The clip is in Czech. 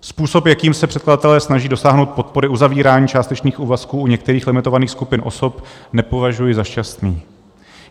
Způsob, jakým se předkladatelé snaží dosáhnout podpory uzavírání částečných úvazků u některých limitovaných skupin osob nepovažuji za šťastný.